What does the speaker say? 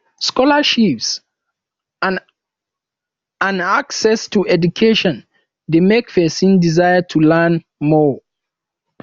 scholarships and and access to education de make persin desire to learn more